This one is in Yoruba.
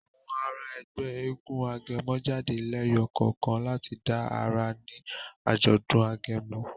Àwọn àrà Ègbé éégun agẹmọ jáde leyo kánkan lati dá àrà ní ajọdun agẹmọ.